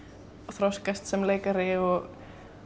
þroskast sem leikari og